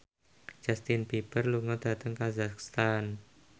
Justin Beiber lunga dhateng kazakhstan